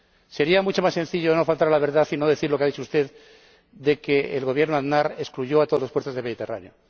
Sería mucho más sencillo no faltar a la verdad y no decir lo que ha dicho usted que el Gobierno de Aznar excluyó a todos los puertos del Mediterráneo.